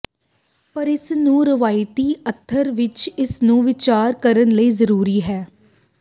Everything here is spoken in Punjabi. ਪਰ ਇਸ ਨੂੰ ਰਵਾਇਤੀ ਅਰਥ ਵਿਚ ਇਸ ਨੂੰ ਵਿਚਾਰ ਕਰਨ ਲਈ ਜ਼ਰੂਰੀ ਹੈ